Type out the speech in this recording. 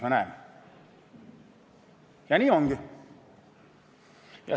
Ja nii ongi.